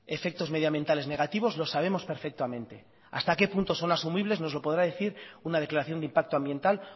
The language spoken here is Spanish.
efectos medioambientales negativos lo sabemos perfectamente hasta qué punto son asumibles nos lo podrá decir una declaración de impacto ambiental